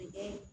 A kɛ